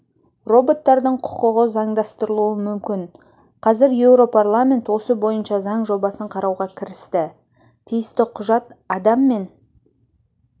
роботтардың құқығы заңдастырылуы мүмкін қазір еуропарламент осы бойынша заң жобасын қарауға кірісті тиісті құжат адам мен